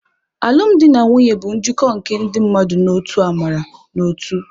Alụmdi na nwunye bụ njikọ nke ndị mmadụ n'otu amara na ótū.